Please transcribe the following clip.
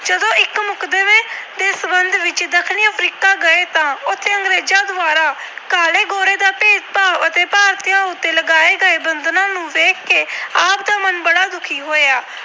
ਗਏ ਤਾਂ ਉਥੇ ਅੰਗਰੇਜਾਂ ਦੁਆਰਾ ਕਾਲੇ-ਗੋਰੇ ਦਾ ਭੇਦਭਾਵ ਅਤੇ ਭਾਰਤੀਆਂ ਉਤੇ ਲਗਾਏ ਗਏ ਬੰਧਨਾਂ ਨੂੰ ਦੇਖ ਕੇ ਆਪ ਦਾ ਮਨ ਬੜਾ ਦੁਖੀ ਹੋਇਆ।